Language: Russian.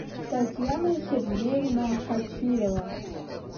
татьяна сергеевна хачирова